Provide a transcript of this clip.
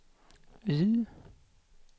Y